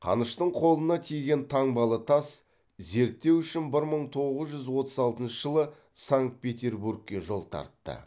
қаныштың қолына тиген таңбалы тас зерттеу үшін бір мың тоғыз жүз отыз алтыншы жылы санкт петербургке жол тартты